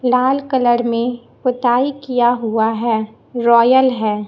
लाल colour में पोताई किया हुआ है रॉयल है।